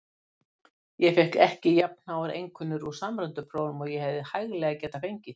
Ég fékk ekki jafnháar einkunnir úr samræmdu prófunum og ég hefði hæglega getað fengið.